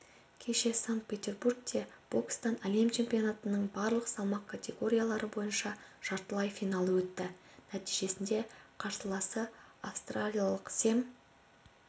кеше санкт-петербургте бокстан әлем чемпионатының барлық салмақ категориялары бойынша жартылай финалы өтті нәтижесінде қарсыласы австралиялық сэм